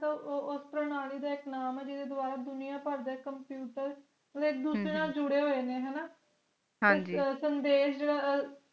ਤੇ ਓਸਤ੍ਰਹ ਨਾ ਲਾਇ ਦਾ ਇਕ ਨਾਮੁ ਇਹ ਜਿਦ੍ਹਾ ਦਵਾਰਾ ਦੁਨੀਆ ਪਰਦਾ computer ਹੁਣ ਇਕ ਦੂਸਰੇ ਅਹ ਨਾਲ ਜੁੜੇ ਹੋਏ ਨੇ ਹਾਂ ਜੀ ਸੰਦੈਸ਼ ਜਿਰਾਹ